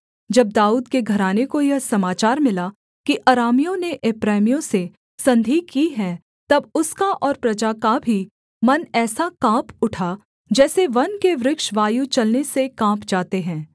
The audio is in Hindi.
जब दाऊद के घराने को यह समाचार मिला कि अरामियों ने एप्रैमियों से संधि की है तब उसका और प्रजा का भी मन ऐसा काँप उठा जैसे वन के वृक्ष वायु चलने से काँप जाते हैं